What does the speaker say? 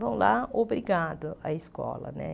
Vão lá, obrigado à escola, né?